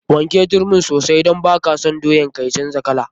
Wanke turmin sosai don baka son doyan ka ta canja kala.